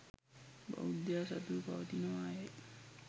බෞද්ධයා සතුව පවතිනවා යයි